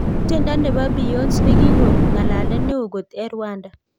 Tiendo neboo Beyonze nigikoon ng'alalet neo koot eng Rwanda